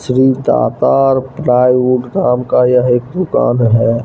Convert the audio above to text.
Shri Datar plywood नाम का यह एक दुकान है।